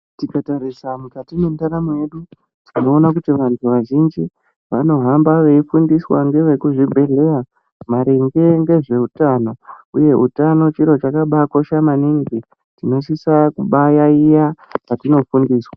Tikatarisa mukati mwendaramo yedu tinoona kuti vantu vazhinji vanohamba veifundiswa ngevekuzvibhedhleya maringe ngezveutano, uye utano chiro chakabakosha maningi tinosisa kubayaiya patinofundiswa.